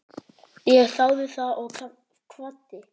Ég þáði það og kvaddi.